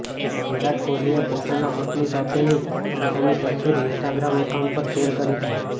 વિરાટ કોહલીએ પોતાની પત્ની સાથેની પોતાની તસવીર ઈન્સ્ટાગ્રામ એકાઉન્ટ પર શેર કરી છે